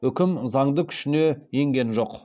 үкім заңды күшіне енген жоқ